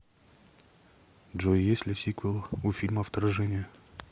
джой есть ли сиквел у фильма вторжение